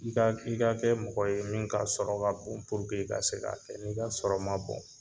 I ka kɛ mɔgɔ ye min ka sɔrɔ ka bon purlke i ka se k'a kɛ , n 'i ka sɔrɔ ma bɔn